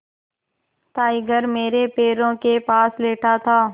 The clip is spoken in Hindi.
टाइगर मेरे पैरों के पास लेटा था